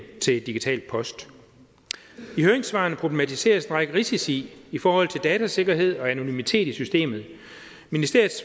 til digital post i høringssvarene problematiseres en række risici i forhold til datasikkerhed og anonymitet i systemet ministeriets